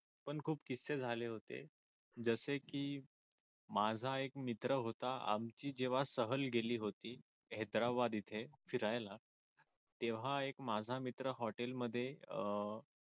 पण खूप झाले होते जसे कि माझा एक मित्र होता आमची जेव्हा सहल होती हैद्राबाद येथे फिरायला तेव्हा एक माझा मित्र अह